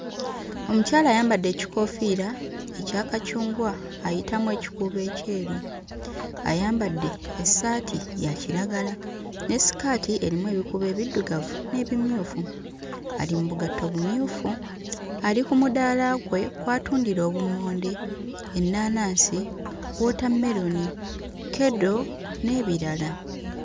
Omukyala ayambadde ekikoofiira ekya kacungwa ayitamu ekikuubo ekyeru, ayambadde essaati ya kiragala ne sikaati erimu ebikuubo ebiddugavu n'ebimyufu, ali mu bugatto bumyufu, ali ku mudaala kwe kw'atundira obummonde, ennaanansi, wootammeroni, kkedo n'ebirala.